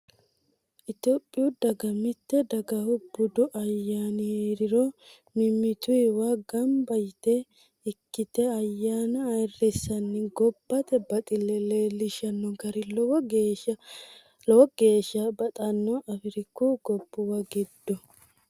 Itophiyu daga mite dagahu budu ayyaanni heeriro mimmituwa gamba yte ikkite ayyanna ayirrisanni gobbate baxile leellishano gari lowo geeshsha baxano afiriku gobbuwa giddo.